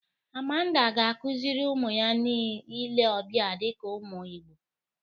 Amanda ga-akụzịrị ụmụ ya ile ọbịa dịka ụmụ Igbo.